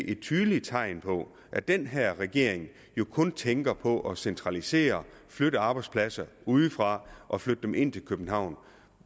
et tydeligt tegn på at den her regering jo kun tænker på at centralisere flytte arbejdspladser udefra og ind til københavn